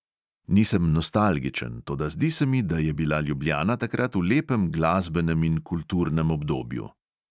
Nisem nostalgičen, toda zdi se mi, da je bila ljubljana takrat v lepem glasbenem in kulturnem obdobju.